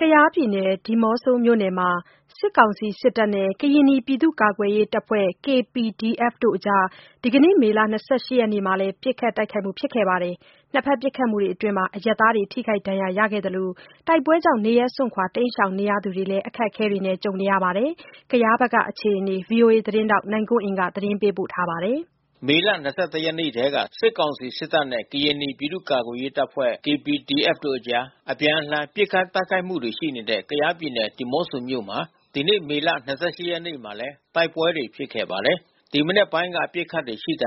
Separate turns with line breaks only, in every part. ကယားပြည်နယ် ဒီးမော့ဆိုမြို့နယ်မှာ စစ်ကောင်စီစစ်တပ်နဲ့ ကရင်နီပြည်သူ့ကာကွယ်ရေးတပ်ဖွဲ့ (KPDF) တို့အကြား ဒီနေ့ မေလ ၂၈ ရက်နေ့မှာလည်း ပစ်ခတ်တိုက်ခိုက်ကြပါတယ်။ နှစ်ဖက်ပစ်ခတ်မှုအတွင်းအရပ်သားတွေ ထိခိုက်ဒဏ်ရာရခဲ့သလို တိုက်ပွဲတွေကြောင့် နေရပ်စွန့်ခွာ တိမ်းရှောင်နေသူတွေမှာလည်း အခက်အခဲတွေ ဖြစ်နေကြပါတယ်။ ကယားဖက်ကအခြေအနေကို ဗွီအိုအေသတင်းထောက် နိုင်ကွန်းအိန်က သတင်းပေးပို့ထားပါတယ်။ မေလ ၂၁ ရက်နေ့ထဲက စစ်ကောင်စီစစ်တပ်နဲ့ ကရင်နီပြည်သူ့ကာကွယ်ရေးတပ်ဖွဲ့ KPDF တို့အကြား အပြန်အလှန် ပစ်ခတ်တိုက်ခိုက်မှုတွေရှိနေတဲ့ ကယားပြည်နယ် ဒီးမော့ဆိုမြို့မှာ ဒီနေ့ မေလ ၂၈ ရက်နေ့မှာလည်း မနက်ပိုင်းကတည်းက ပစ်ခတ်တာတွေရှိခဲ့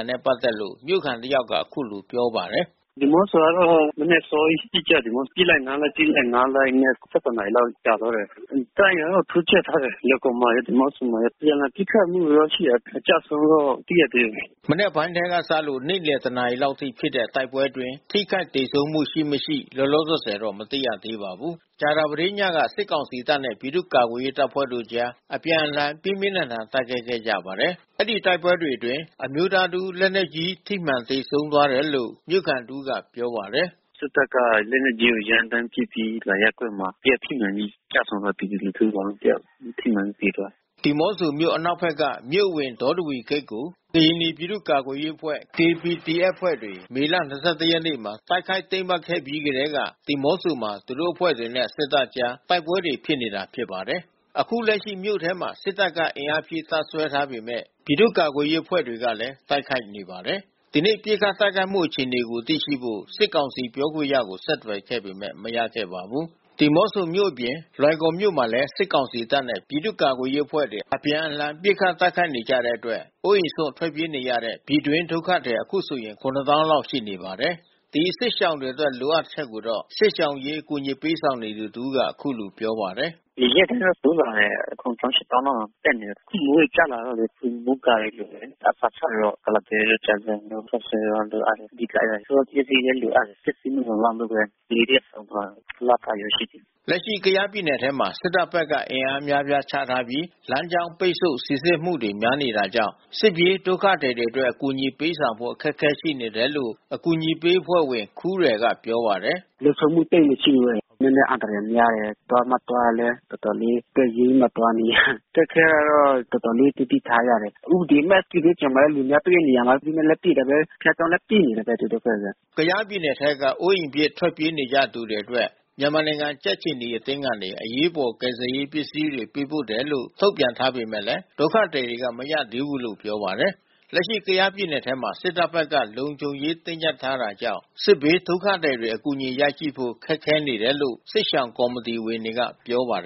တယ်လို့ မြို့ခံတယောက်က ပြောပါတယ်။ "ဒီးမော့ဆိုကတော့မနက်အစောကြီးပစ်ကြတယ်။ ပစ်လိုက်နားလိုက် ပစ်လိုက်နားလိုက်နဲ့ ၁၁ နာရီလောက်ကြာသွား တယ်။ တပ်အင်အားတော့တိုးချဲ့ထားတယ် လွိုင်ကော်မှာရော ဒီးမော့ဆိုမှာရော။ အပြန်လှန်ပစ်ခတ်မှုတော့ရှိတယ်။ အကျဆုံးတော့မသိရသေးဘူး။" မနက်ပိုင်းထဲကစလို့ နေ့လည် ၁ နာရီလောက်အထိဖြစ်တဲ့ တိုက်ပွဲတွေအတွင်း ထိခိုက်သေဆုံးမှု ရှိမရှိ လောလောဆယ်တော့ မသိရသေးပါဘူး။ ကြာသပတေးညကလဲ စစ်ကောင်စီတပ်နဲ့ ပြည်သူ့ကာကွယ်ရေးတပ်ဖွဲ့ကြား အပြန်အလှန် ပြင်းပြင်းထန်ထန် တိုက်ခိုက်ခဲ့ကြပါတယ်။ အဲဒီတိုက်ပွဲတွေအတွင်း အမျိုးသားတစ်ဦး လက်နက်ကြီး ထိမှန်သေဆုံးသွားတယ်လို့ မြို့ခံတဦးကပြောပါတယ်။ "စစ်တပ်က လက်နက်ကြီးနဲ့ ရမ်းသန်းပစ်ခတ်ပြီး အောင်မင်္ဂလာရပ်ကွက်မှာ တယောက်ထိမှန်ပြီးကျဆုံးသွားတယ်။ ပြည်သူ လူထုတယောက်။ ထိမှန်ပြီးသေသွားတယ်။" ဒီးမော့ဆိုမြို့ အနောက်ဖက်က မြို့အဝင် ဒေါတဝီဂိတ်ကို ကရင်နီ ပြည်သူ့ကာကွယ်ရေးအဖွဲ့ KPDF အဖွဲ့ဝင်တွေ မေလ ၂၁ ရက်နေ့မှာ တိုက်ခိုက် သိမ်းပိုက်ခဲ့ပြီးကတည်းက ဒီးမော့ဆိုမှာ သူတို့အဖွဲ့တွေနဲ့ စစ်တပ်ကြား တိုက်ပွဲတွေဖြစ်နေတာပါ။ အခုလက်ရှိ မြို့ထဲမှာ စစ်တပ်က အင်အားဖြည့် တပ်စွဲထားပေမဲ့ ပြည်သူ့ကာကွယ်ရေးအဖွဲ့တွေကလည်း တိုက်ခိုက်နေပါတယ်။ ဒီနေ့ပစ်ခတ်တိုက်ခိုက်မှုအခြေအနေကိုသိရှိဖို့ စစ်ကောင်စီပြောခွင့်ရကိုဆက်သွယ်ပေမဲ့ မရခဲ့ပါဘူး။ ဒီးမော့ဆိုမြို့အပြင် လွိုင်ကော်မြို့မှာလည်း စစ်ကောင်စီတပ်နဲ့ ပြည်သူ့ကာကွယ်ရေးအဖွဲ့တွေ အပြန်အလှန် ပစ်ခတ်တိုက်ခိုက်နေကြတဲ့အတွက် အိုးအိမ်စွန့် ထွက်ပြေးနေကြရတဲ့ ပြည်တွင်းဒုက္ခသည် အခုဆို ၇၀,၀၀၀ လောက် ရှိနေပါတယ်။ ဒီစစ်ရှောင်တွေအတွက်လိုအပ်ချက်ကိုတော့ စစ်ရှောင်အရေးအကူညီပေးဆောင်နေသူတဦးက အခုလိုပြောပါတယ်။ "ဒီရက်ဘက်တိုးလာတယ်။ ၇၀,၀၀၀၊ ၈၀,၀၀၀ လောက်တက်နေတယ်။ မိုးတွေကျလာလို့လေ မိုးကာတွေလိုအပ်တယ်။ အစာခြောက်တွေကတော့ ကုလားပဲတို့ကြာဇံတို့ ခေါက်ဆွဲတို့လိုအပ်နေတယ်။ ဆေးပစ္စည်းလဲလိုအပ်နေတယ်။ ပစ္စည်းမလုံလောက်လို့ဘဲ ကလေးတယောက်ဆုံးသွားတယ်။ လပိုင်းဘဲရှိတယ်။" လက်ရှိ ကယားပြည်နယ်ထဲမှာ စစ်တပ်ဘက်က အင်အားအများအပြားချပြီး လမ်းကြောင်းပိတ်ဆို့ စိစစ်မှုတွေ များနေတာကြောင့် စစ်ပြေးဒုက္ခသည်တွေအတွက် အကူညီပေးဆောင်ဖို့ အခက်ခဲတွေရှိနေတယ်လို့ အကူညီပေးအဖွဲ့ဝင် ခူးရယ်ကပြောပါတယ်။ "လုံခြုံမှုသိပ်မရှိဘူး။ နည်းနည်းအန္တရာယ်များတယ်။ သွားမှသွားရင်လည်း တော်တော်လေး အသက်ရင်းပြီးမှသွားနေရတယ်။ အခက်ခဲကတော့ တော်တော်လေးသတိထားရတယ်။ စစ်ဘေးရှောင်လာတဲ့သူတွေလည်း တွေ့တဲ့နေရာမှာ ဥပဒေမဲ့ လက်နက်နဲ့ပစ်တာပဲ။ ဘုရားကျောင်းလည်း ပစ်နေတာပဲ သူတို့ဘက်က။" ကယားပြည်နယ်ထဲက အိုးအိမ်ပစ် ထွက်ပြေးနေကြရသူတွေအတွက် မြန်မာနိုင်ငံကြက်ခြေနီအသင်းကနေ အရေးပေါ် ကယ်ဆယ်ရေးပစ္စည်းတွေ ပေးပို့တယ်လို့ ထုတ်ပြန်ထားပေမဲ့ ဒုက္ခသည်တွေက မရသေးဘူးလို့ ပြောပါတယ်။ လက်ရှိကယားပြည်နယ်ထဲမှာ စစ်တပ်ဘက်က လုံခြုံရေးတင်းကြပ်ထားတာကြောင့် စစ်ဘေးဒုက္ခသည်တွေ အကူအညီရနိုင်ဖို့ ခက်ခဲနေတယ်လို့ စစ်ရှောင်ကော်မတီဝင်တွေကပြောပါတယ်